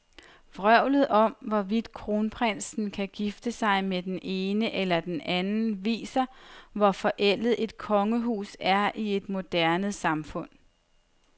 Vrøvlet om, hvorvidt kronprinsen kan gifte sig med den ene eller den anden, viser, hvor forældet et kongehus er i et moderne samfund.